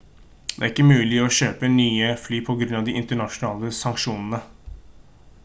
det er ikke mulig å kjøpe nye fly på grunn av de internasjonale sanksjonene